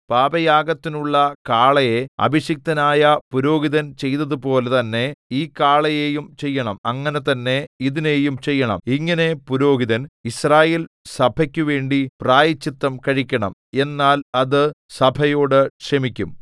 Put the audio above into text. പാപയാഗത്തിനുള്ള കാളയെ അഭിഷിക്തനായ പുരോഹിതൻ ചെയ്തതുപോലെ തന്നെ ഈ കാളയെയും ചെയ്യണം അങ്ങനെ തന്നെ ഇതിനെയും ചെയ്യണം ഇങ്ങനെ പുരോഹിതൻ യിസ്രായേൽസഭയ്ക്കുവേണ്ടി പ്രായശ്ചിത്തം കഴിക്കണം എന്നാൽ അത് സഭയോട് ക്ഷമിക്കും